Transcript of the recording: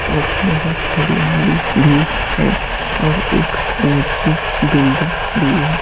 और बहुत हरियाली भी है और एक ऊंची बिल्डिंग भी है।